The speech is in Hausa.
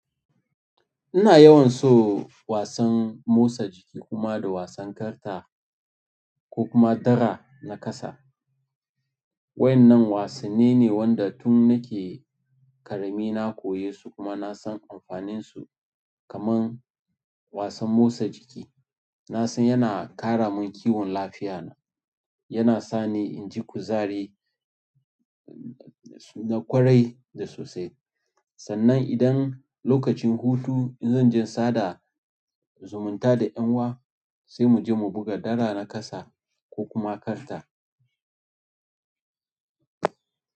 Ina yawan so wasan motsa jiki kuma da wasan karta ko kuma dara na kasa. Waɗannan wasanni ne wanda tun nake ƙarami na koyesu kuma na san amfaninsu. Kaman wasan motsa jiki na san yana ƙara mun kiwon lafiyana, yana sani inji kuzari na ƙwarai da sosai. Sannan idan lokacin hutu in zan je sada zumunta da ƴan wa sai muje mu buga dara na kasa ko kuma karta.